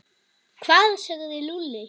Hvað sagði Lúlli?